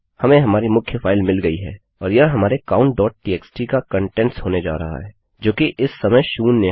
हमें हमारी मुख्य फाइल मिल गयी है और यह हमारे countटीएक्सटी का कंटेंट्स होने जा रहा है जोकि इस समय शून्य है